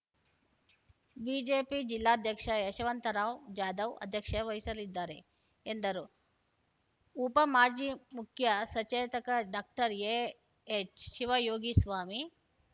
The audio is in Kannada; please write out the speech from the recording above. ಬಿಜೆಪಿ ಜಿಲ್ಲಾಧ್ಯಕ್ಷ ಯಶವಂತರಾವ್‌ ಜಾಧವ್‌ ಅಧ್ಯಕ್ಷ ವಹಿಸಲಿದ್ದಾರೆ ಎಂದರು ಉಪ ಮಾಜಿ ಮುಖ್ಯ ಸಚೇತಕ ಡಾಕ್ಟರ್ ಎಎಚ್‌ ಶಿವಯೋಗಿಸ್ವಾಮಿ